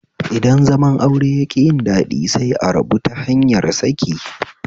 Idan zaman aure yaƙi yin daɗi sai a rabu ta hanyar saki